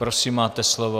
Prosím, máte slovo.